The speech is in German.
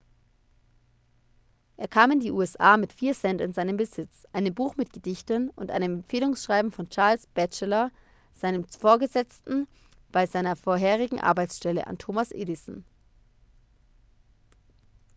er kam in die usa mit 4 cent in seinem besitz einem buch mit gedichten und einem empfehlungsschreiben von charles batchelor seinem vorgesetzten bei seiner vorherigen arbeitsstelle an thomas edison